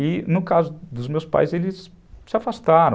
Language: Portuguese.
E no caso dos meus pais, eles se afastaram.